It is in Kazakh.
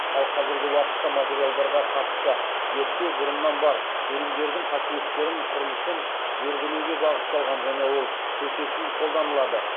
ал қазіргі уақытта материалдарға қатысты зерттеу бұрыннан бар өнімдердің қасиеттерін құрылысын зерделеуге бағытталған және ол төтесінен қолданылады